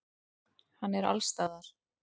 Hann er allsstaðar.